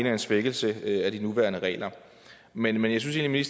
er en svækkelse af de nuværende regler men jeg synes egentlig